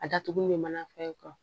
A datugu bɛ mana fɛn